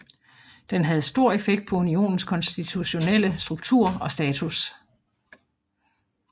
Den havde stor effekt på unionens konstituelle struktur og status